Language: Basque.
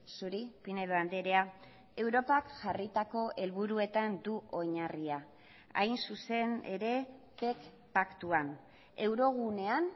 zuri pinedo andrea europak jarritako helburuetan du oinarria hain zuzen ere paktuan eurogunean